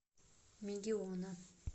мегиона